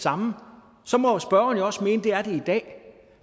samme så må spørgeren jo også mene at det er det i dag